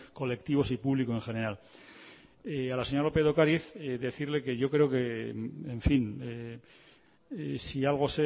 colectivos y público en general a la señora lópez de ocariz decirle que yo creo que en fin si algo